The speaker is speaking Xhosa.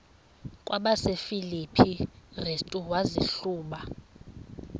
kwabasefilipi restu wazihluba